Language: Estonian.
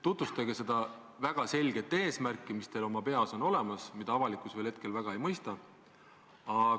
Tutvustage seda väga selget eesmärki, mis teil oma peas on olemas ja mida avalikkus veel hetkel väga ei mõista.